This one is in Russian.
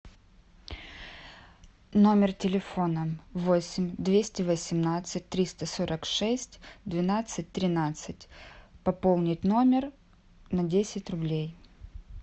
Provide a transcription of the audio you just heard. номер телефона восемь двести восемнадцать триста сорок шесть двенадцать тринадцать пополнить номер на десять рублей